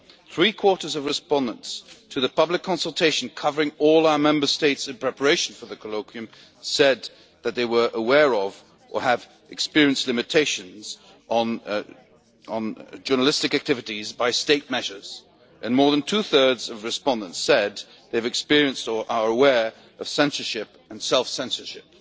Three quarters of respondents to the public consultation covering all our Member States in preparation for the colloquium said that they were aware of or have experienced limitations on journalistic activities by state measures, and more than two thirds of respondents said they have experienced or are aware of censorship and self censorship.